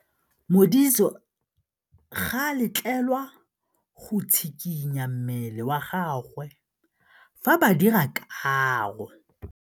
Modise ga a letlelelwa go tshikinya mmele wa gagwe fa ba dira karô.